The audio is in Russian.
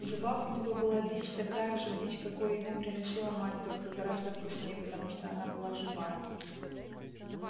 в зубах у него была дичь такая же дичь какую ему приносила мать только гораздо вкуснее потому что она была живая